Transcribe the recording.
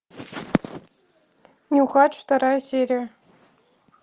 нюхач вторая серия